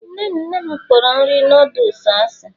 nne nne m kporo nri noodles asị.